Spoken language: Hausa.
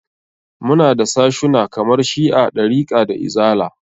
Muna da sashuna kamar shi'a, ɗarika da izala.